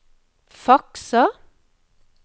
fakser